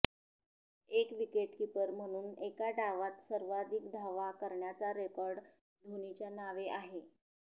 एक विकेटकीपर म्हणून एका डावात सर्वाधिक धावा करण्याचा रेकॉर्ड धोनीच्या नावे आहे